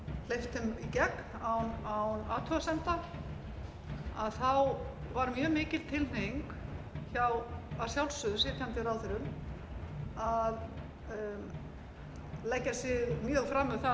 ef svo á að orði komast fleytt þeim í gegn án athugasemda þá varð mjög mikil tilhneiging hjá að sjálfsögðu sitjandi ráðherrum að leggja sig mjög fram um það að ná málunum